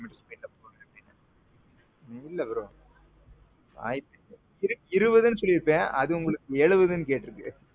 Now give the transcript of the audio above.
இல்ல bro. இருவதுனு சொல்லியிருப்பேன் அது உங்களுக்கு எழுவதுன்னு கேற்றுக்கு.